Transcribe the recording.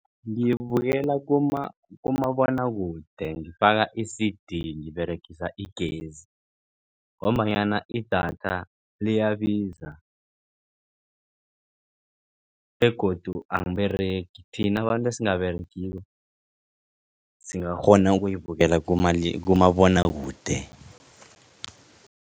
Ngiyibukela kumabonwakude ngifaka i-C_D ngiberegisa igezi. Ngombanyana idatha liyabiza begodu angiberegi thina abantu esingaberegiko singakghona ukuyibukela kumabonwakude.